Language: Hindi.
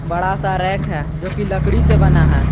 बड़ा सा रैक है जोकि लकड़ी से बना है।